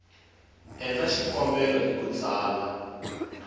endla xikombelo hi ku tsala